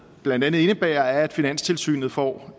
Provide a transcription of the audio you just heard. blandt andet indebærer er at finanstilsynet får